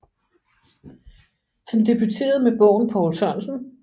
Han debuterede med bogen Poul Sørensen